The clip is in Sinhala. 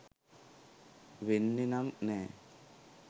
වෙන්නෙ නම් නෑ.